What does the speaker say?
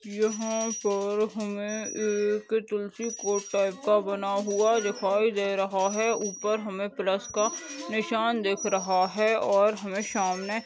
यहाँ पर हमें एक तुलसी को टाइप का बना हुआ दिखाई दे रहा है ऊपर हमे प्लस का निशान दिख रहा है और हमे सामने --